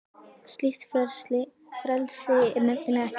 Slíkt frelsi er nefnilega ekki til.